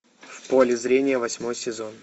в поле зрения восьмой сезон